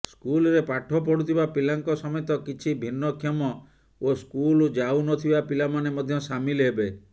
ସ୍କୁଲରେ ପାଠ ପଢ଼ୁଥିବା ପିଲାଙ୍କ ସମେତ କିଛି ଭିନ୍ନକ୍ଷମ ଓ ସ୍କୁଲ ଯାଉନଥିବା ପିଲାମାନେ ମଧ୍ୟ ସାମିଲ ହେବେ